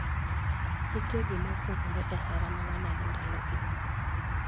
Nitie gima opogore e hera ma waneno ndalogi.